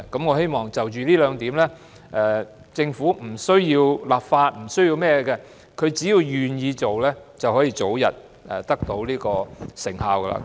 我希望就着這兩點，政府不需要立法或是甚麼，政府只要願意做，便可以早日得到成效。